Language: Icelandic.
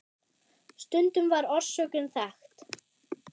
Stundum var orsökin þekkt.